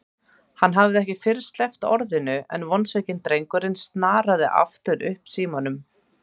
Hann hafði ekki fyrr sleppt orðinu en vonsvikinn drengurinn snaraði aftur upp símanum.